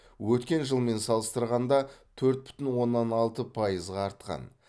өткен жылмен салыстырғанда төрт бүтін оннан алты пайызға артқан